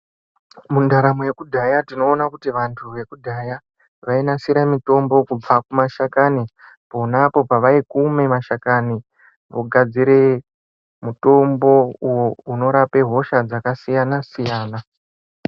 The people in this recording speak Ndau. Mundaramo yekudhaya tinoona kuti vantu vekudhaya vainasira mutombo kubva kumashakani. Ponapo pavaikume mashakani vogadzire mutombo uvo unorape hosha dzakasiyana-siyana.